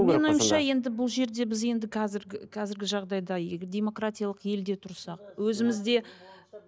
менің ойымша енді бұл жерде біз енді қазіргі жағдайда демократиялық елде тұрсақ өзімізде